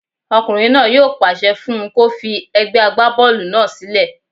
Ọkùnrin náà yóò pàṣẹ fún un kó fi egbẹ́ agbábọ́ọ̀lù náà sílẹ̀